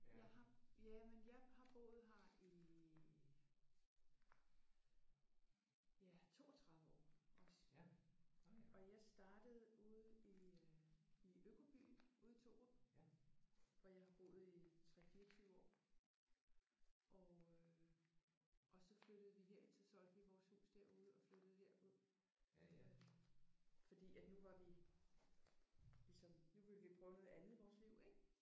Jeg har jamen jeg har boet her i ja 32 år også. Og jeg startede ude i øh i økobyen ude i Thorup hvor jeg har boet i 3 24 år og øh og så flyttede vi herind så solgte vi vores hus derude og flyttede herud øh fordi at nu var vi ligesom nu ville vi prøve noget andet i vores liv ik?